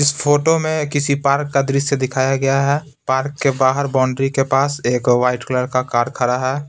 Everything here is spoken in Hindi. इस फोटो में किसी पार्क का दृश्य दिखाया गया है पार्क के बाहर बाउंड्री के पास एक वाइट कलर का कार खड़ा है।